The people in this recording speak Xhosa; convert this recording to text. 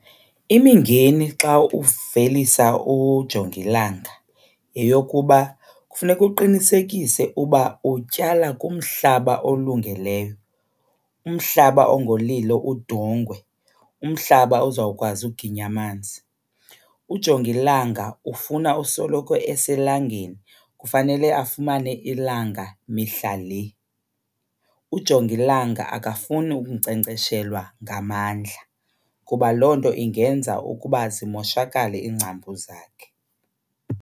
Imingeni xa uvelisa ujongilanga yeyokuba kufuneka uqinisekise uba utyala kumhlaba olungeleyo, umhlaba ongelilo udongwe, umhlaba ozawukwazi uginya amanzi. Ujongilanga ufuna usoloko eselangeni, kufanele afumane ilanga mihla le. Ujongilanga akafuni ukunkcenkceshelwa ngamandla kuba loo nto ingenza ukuba zimoshakale iingcambu zakhe.